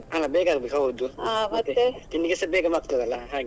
ಅಲ್ಲ ಬೇಗ ಆಗ್ಬೇಕು ಹೌದು ತಿನ್ನಲಿಕ್ಕೆಸ ಬೇಗ ಆಗ್ತದಲ್ಲ ಹಾಗೆ.